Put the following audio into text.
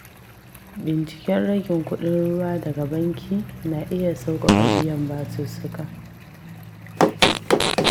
Binciken ragin kuɗin ruwa daga banki na iya sauƙaƙa biyan basussuka.